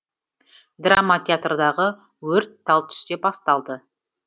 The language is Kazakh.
драма театрдағы өрт тал түсте басталды